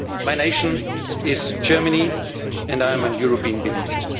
Bavarian. My nation is Germany and I am a European